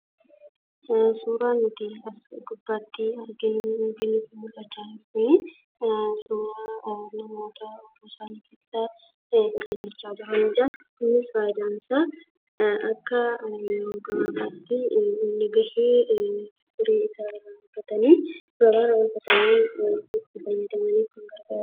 Suuraa nuti as gubbatti arginu yookiin nutti mul'acha jiru kun, suuraa namoota yeroo isaan hojii hojjechaa jiranidha. Faayidaan isa maaliidha?